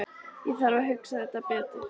Ég þarf að hugsa þetta betur.